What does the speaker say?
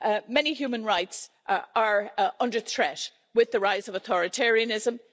Many human rights are under threat with the rise of authoritarianism.